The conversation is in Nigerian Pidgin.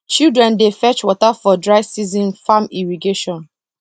children dey fetch water for dry season farm irrigation